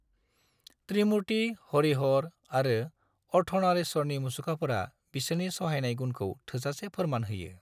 त्रिमूर्ति, हरिहर आरो अर्धनारीश्वरनि मुसुखाफोरा बिसोरनि सहायनाय गुनखौ थोजासे फोरमान होयो।